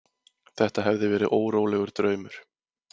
Þetta hafði verið órólegur draumur.